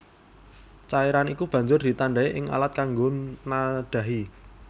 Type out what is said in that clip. Cairan iku banjur ditadhahi ing alat kanggo nadhahi